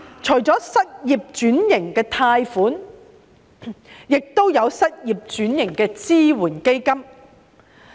除了失業轉型貸款，亦應設立失業轉型支援基金。